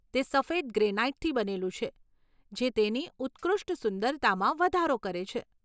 તે સફેદ ગ્રેનાઈટથી બનેલું છે જે તેની ઉત્કૃષ્ટ સુંદરતામાં વધારો કરે છે.